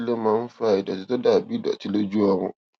kí ló máa ń fa ìdòtí tó dà bí ìdòtí lójú ọrùn